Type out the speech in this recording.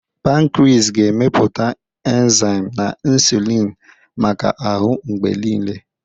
Pankris ga-emepụta enzaim na insulini maka ahụ mgbe niile.